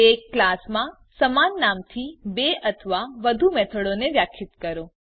એક ક્લાસમાં સમાન નામથી બે અથવા વધુ મેથડોને વ્યાખ્યિત કરો